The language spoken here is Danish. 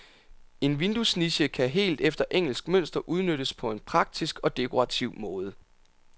En vinduesniche kan helt efter engelsk mønster udnyttes på en praktisk og dekorativ måde.